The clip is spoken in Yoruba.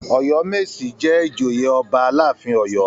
Ọ̀yọ́mèsì jẹ́ ìjòyè ọba aláàfin Ọ̀yọ́.